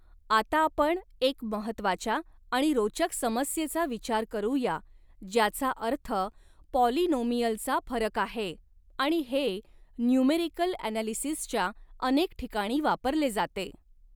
आता आपण एक महत्त्वाच्या आणि रोचक समस्येचा विचार करूया ज्याचा अर्थ पॉलीनोमियलचा फरक आहे आणि हे न्यूमेरिकल ॲनॕलिसिसच्या अनेक ठिकाणी वापरले जाते.